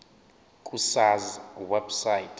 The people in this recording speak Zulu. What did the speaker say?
ku sars website